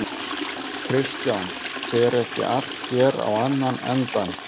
Kristján: Fer ekki allt hér á annan endann?